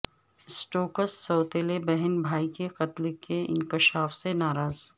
Stokes سوتیلے بہن بھائی کے قتل کے انکشاف سے ناراض